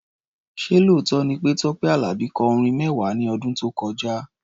Ṣé lóòótọ́ ni pé Tọ́pẹ́ Àlàbí kọ orin mẹ́wàá ní ọdún tó kọjá?